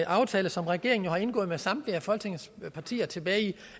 aftale som regeringen har indgået med samtlige af folketingets partier tilbage i